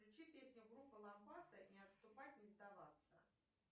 включи песню группы лампасы не отступать не сдаваться